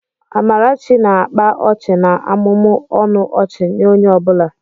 Amarachi na-akpa ọchị na-amụmụ ọnụ ọchị nye onye ọ bụla.